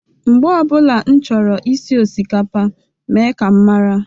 Mgbe ọ bụla m chọrọ isi osikapa mee ka m mara